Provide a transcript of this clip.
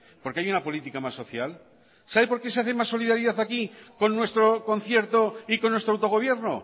porque hay una política más social sabe por qué se hace más solidaridad aquí con nuestro concierto y con nuestro autogobierno